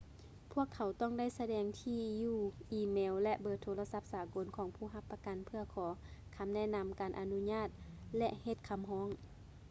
ພວກເຂົາຕ້ອງໄດ້ສະແດງທີ່ຢູ່ອີເມວ ແລະ ເບີໂທລະສັບສາກົນຂອງຜູ້ຮັບປະກັນເພື່ອຂໍຄຳແນະນຳ/ການອະນຸຍາດ ແລະ ເຮັດຄຳຮ້ອງ